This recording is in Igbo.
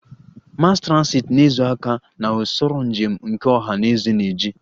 Mass transit na-ezo aka na usoro njem nke ọha na eze na-eji